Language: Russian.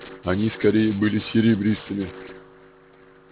они скорее были серебристыми